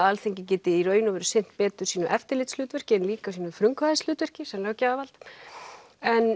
Alþingi geti í raun sinnt betur sínu eftirlitshlutverki en líka sínu frumkvæðishlutverki sem löggjafarvald en